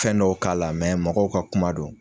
Fɛn dɔw k'a la mɛ mɔgɔw ka kuma don.